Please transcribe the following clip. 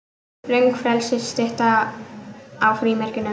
Röng frelsisstytta á frímerkinu